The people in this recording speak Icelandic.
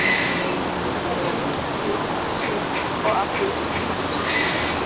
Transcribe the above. Að teikna myndir af því sem hann sér og af því sem hann hugsar.